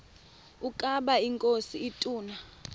ukaba inkosi ituna